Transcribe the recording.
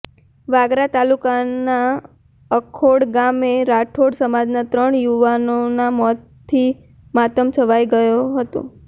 વાગરા તાલુકાના અખોડ ગામે રાઠોડ સમાજના ત્રણ યુવાનોના મોતથી માતમ છવાઈ ગયો હતો